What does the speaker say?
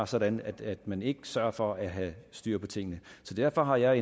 sådan at man ikke sørger for at have styr på tingene så derfor har jeg